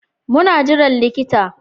Muna jiran likita